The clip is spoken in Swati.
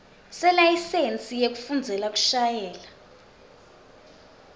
selayisensi yekufundzela kushayela